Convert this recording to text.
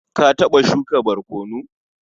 Ka taɓa shuka barkono?